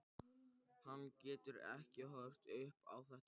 Hann getur ekki horft upp á þetta lengur.